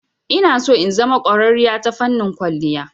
Inaso in zama ƙwararriya ta fannin kwalliya.